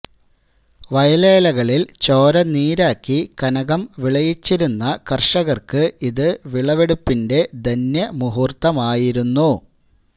വയലേലകളില് ചോര നീരാക്കി കനകം വിളയിച്ചിരുന്ന കര്ഷകര്ക്ക് ഇത് വിളവെടുപ്പിന്റെ ധന്യ മുഹര്ത്ത മായിരുന്നു